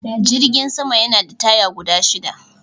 Jirgin sama Yana da taya guda shida